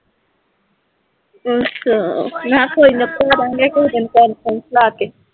ਅੱਛਾ ਮੈਂ ਕਿਹਾ ਕੋਈ ਨਾ, ਕਹਾ ਦਿਆਂਗੇ ਪਾ ਕੇ